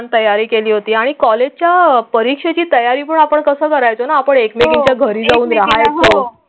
आणि तयारी केली होती आणि कॉलेजच्या परीक्षेची तयारी पण आपण कसं करायचं आपण एकमेकांच्या घरी जाऊ द्या.